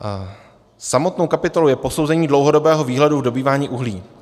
Samostatnou kapitolou je posouzení dlouhodobého výhledu v dobývání uhlí.